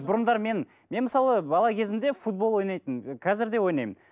бұрындары мен мен мысалы бала кезімде футбол ойнайтынмын қазір де ойнаймын